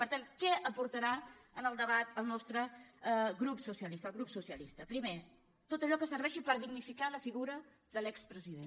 per tat què aportarà en el debat el nostre grup el grup socialista primer tot allò que serveixi per dignificar la figura de l’expresident